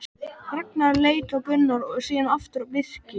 Ragnar leit á Gunnar og síðan aftur á Birki.